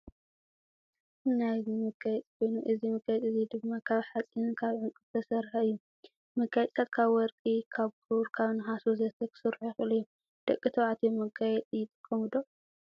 ናይ እዚ መጋየፂ ኮይኑ እዚ መጋየፂ እዚ ድማ ካብ ሓፂንን ካብዕንቁን ዝተሰረሐ እዩ። መጋየፅታት ካብ ወርቂ ካብ ብሩር፣ ካብ ነሓስ፣ ወዘተ... ክስርሑ ይክእሉ እዩ። ደቂ ተባልትዮ መጋየፂ ይጥቀሙ ዶ ?